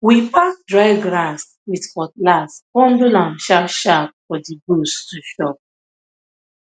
we pack dry grass with cutlass bundle am sharpsharp for the goats to chop